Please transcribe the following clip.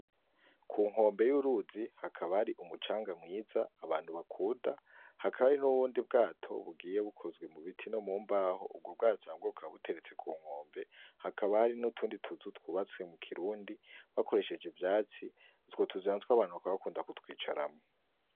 Ku nkombe y’uruzi hakaba hari umucanga mwiza abantu bakwota , hakaba hari n’Ubundi bwato bigiye bukozwe mu biti no mu mbaho , ubwo bwato nabwo bukaba buteretse ku nkombe hakaba hari n’utundi tuzu twubatse mu kirundi bakoresheje ivyatsi, utwo tuzu natwo abantu bakaba bakunda kutwicaramwo.